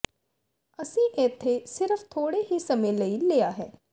ਅਸੀਂ ਇੱਥੇ ਸਿਰਫ਼ ਥੋੜ੍ਹੇ ਹੀ ਸਮੇਂ ਲਈ ਲਿਆ ਹੈ